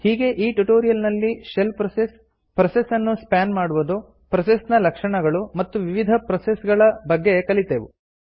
ಹೀಗೆ ಈ ಟ್ಯುಟೋರಿಯಲ್ ನಲ್ಲಿ ಶೆಲ್ ಪ್ರೋಸೆಸ್ ಪ್ರೋಸೆಸ್ ನ್ನು ಸ್ಪಾನ್ ಮಾಡುವುದು ಪ್ರೋಸೆಸ್ ನ ಲಕ್ಷಣಗಳು ಮತ್ತು ವಿವಿಧ ಪ್ರೋಸೆಸ್ ಗಳ ಬಗ್ಗೆ ಕಲಿತೆವು